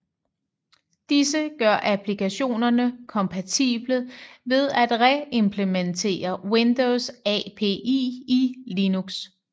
Disse gør applikationerne kompatible ved at reimplementere Windows API i Linux